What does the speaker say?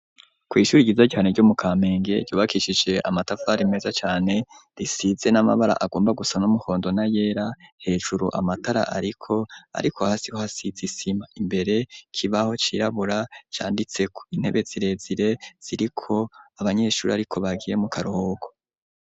kw'ishure ryiza cane ryo mu kamenge ryubakishije amatafari meza cane, risize n'amabara agomba gusa n'umuhondo na yera, hejuru amatara ariko ariko hasi ho hasize isima, imbere ikibaho cirabura canditseko, intebe zirezire ziriko abanyeshure ariko bagiye mu karuhuko.